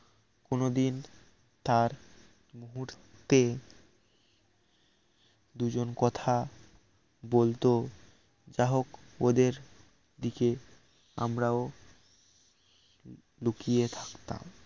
কোনদিন তার তে দুজন কথা বলত যাহোক ওদের দিকে আমরাও লুকিয়ে থাকতাম